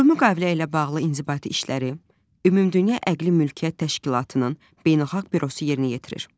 Bu müqavilə ilə bağlı inzibati işləri Ümumdünya Əqli Mülkiyyət Təşkilatının Beynəlxalq bürosu yerinə yetirir.